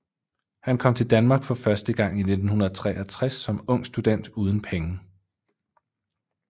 Han kom til Danmark for første gang i 1963 som ung student uden penge